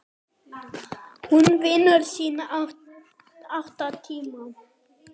Hún vinnur sína átta tíma.